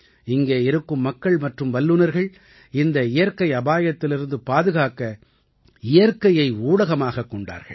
இங்கே இருக்கும் மக்கள் மற்றும் வல்லுநர்கள் இந்த இயற்கை அபாயத்திலிருந்து பாதுகாக்க இயற்கையை ஊடகமாகக் கொண்டார்கள்